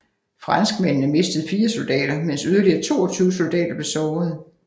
Franskmændene mistede 4 soldater mens yderligere 22 soldater blev sårede